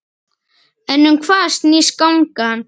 En um hvað snýst gangan?